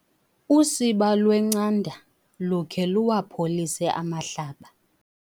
Usiba lwencanda lukhe luwapholise amahlaba.